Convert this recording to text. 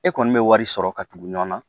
E kɔni bɛ wari sɔrɔ ka tugu ɲɔgɔnna